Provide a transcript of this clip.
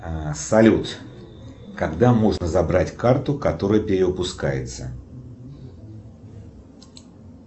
салют когда можно забрать карту которая перевыпускается